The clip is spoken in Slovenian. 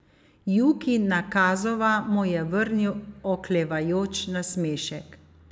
Juki Nakazava mu je vrnil oklevajoč nasmešek.